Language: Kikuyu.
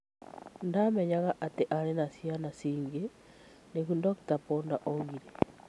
Ndamenyaga ati atĩ aarĩ na ciana ingĩ,'' nĩguo Dr. Poddar oigire